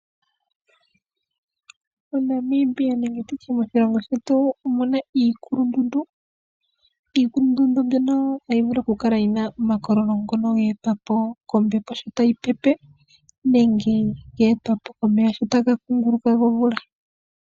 MoNamibia nenge nditye moshilongo shetu omuna iikulundundu, iikulundundu mbyono ohayi vulu okukala yina omakololo ngono ga etwa po kombepo sho tayi pepe nenge ga etwa po komeya shota gakunguluka gomvula.